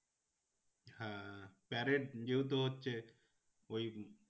হ্যাঁ প্যারেড যেহেতু হচ্ছে ওই